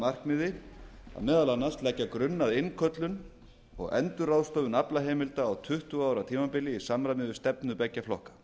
markmiði að meðal annars leggja grunn að innköllun og endurráðstöfun aflaheimilda á tuttugu ára tímabili í samræmi við stefnu beggja flokka